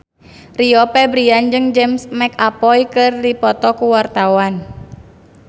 Rio Febrian jeung James McAvoy keur dipoto ku wartawan